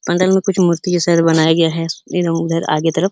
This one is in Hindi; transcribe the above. अंदर में कुछ मूर्ति जैसा बनाया गया है। इधर-उधर आगे तरफ --